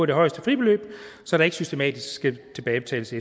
det højeste fribeløb så der ikke systematisk skal tilbagebetales